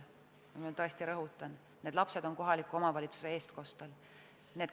Ma rõhutan, need lapsed on kohaliku omavalitsuse eestkostel.